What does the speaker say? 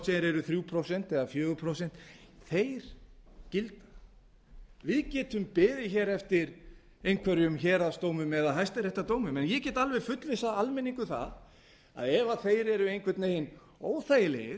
eru þrjú prósent eða fjögur prósent þeir gilda við getum beðið hér eftir einhverjum héraðsdómum eða hæstaréttardómum en ég get alveg fullvissað almenning um það að ef þeir eru einhvern veginn óþægilegir